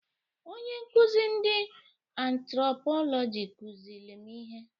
Onye nkụzị ndị antrọpọlọjị kụzịịlị m ihe.